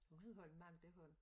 Hun hed Holm Madga Holm